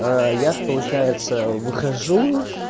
аа я ж получается выхожу